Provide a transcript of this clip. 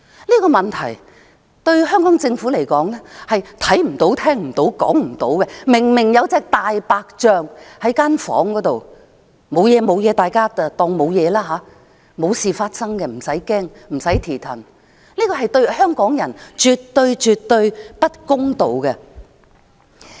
這個問題對香港政府而言，是看不到、聽不到、說不到的，明明有一隻大白象在房間，但大家當作無事發生，不用害怕，這對香港人絕對不公道。